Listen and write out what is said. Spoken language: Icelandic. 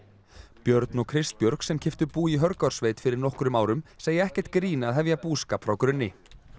björn og Kristbjörg sem keyptu bú í Hörgársveit fyrir nokkrum árum segja ekkert grín að hefja búskap frá grunni